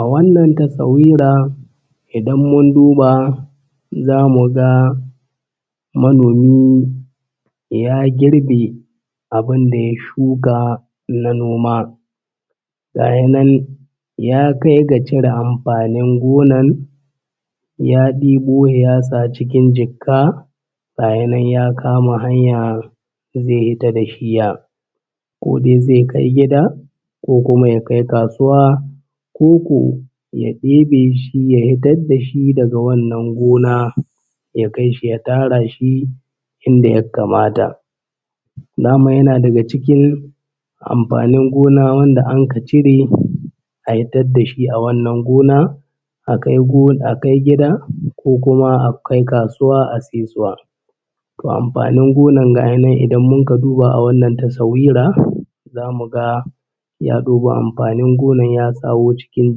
A wannan tasawira idan mun duba za mu ga manomi ya girbe abin da ya shuka na noma. Gaya nan ya kai ga cira amfanin gonan ya ɗebo he ya sa cikin jikka gaya nan ya kama hanya`zai hita da shiyya ko dai zai kai gida ko kuma ya kai kasuwa koko ya ɗebe shi ya hitar da shi daga wannan gona ya kai shi ya tsara shi inda yakkamata, daman yana daga cikin amfanin gona wanda anka cire a hitad da shi a wannan gona a kai go a kai gida ko kuma a kai kasuwa a saisuwa. Toh amfanin gonan ga ainihin idan mun ka duba a wannan tasawirar za mu ga ya ɗebo amfanin gona ya kawo cikin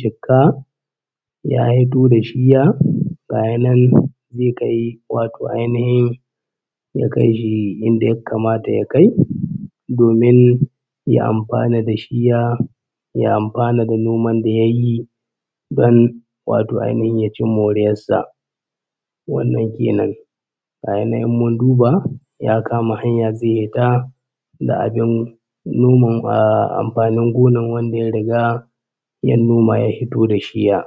jikka ya hito da shiya gaya nan zai kai wato ainihin ya kaishi inda yakkamata ya kai domin ya amfana da shiya, ya amfana da noman da ya yi don wato ainihin ya ci moriyar sa. Wannan kenan gaya nan in mun duba, ya kama hanya zai hita da abin noma ahh amfanin gona wanda ya riga ya noma ya hito da shiyya.